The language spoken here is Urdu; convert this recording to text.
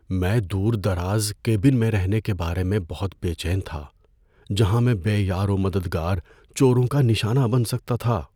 میں دور دراز کیبن میں رہنے کے بارے میں بہت بے چین تھا جہاں میں بے یار و مددگار چوروں کا نشانہ بن سکتا تھا۔